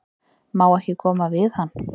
Má ekki koma við hann?